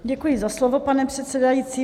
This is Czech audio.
Děkuji za slovo, pane předsedající.